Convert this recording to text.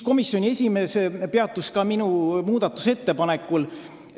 Komisjoni esimees peatus ka minu muudatusettepanekul.